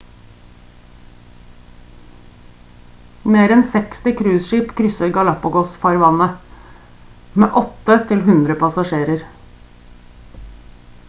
mer enn 60 cruiseskip krysser galapagos-farvannet med 8-100 passasjerer